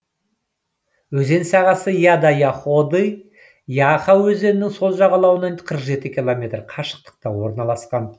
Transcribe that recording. өзен сағасы яда яходы яха өзенінің сол жағалауынан қырық жеті километр қашықтықта орналасқан